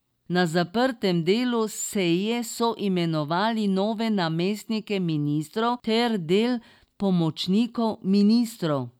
Na zaprtem delu seje so imenovali nove namestnike ministrov ter del pomočnikov ministrov.